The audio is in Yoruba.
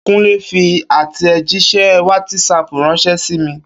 Kúnlé fi àtẹ̀jíṣẹ́ wátísapù ránṣẹ́ sí mi